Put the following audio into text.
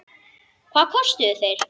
Hvað kostuðu þeir?